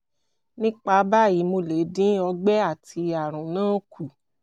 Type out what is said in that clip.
nípa báyìí mo lè dín ọgbẹ́ àti àrùn náà kù